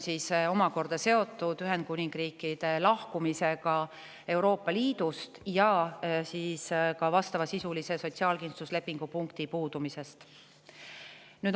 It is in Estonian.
See on seotud Ühendkuningriigi lahkumisega Euroopa Liidust ja ka vastavasisulise sotsiaalkindlustuslepingu punkti puudumisega.